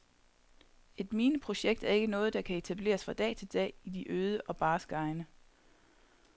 Et mineprojekt er ikke noget, der kan etableres fra dag til dag i de øde og barske egne.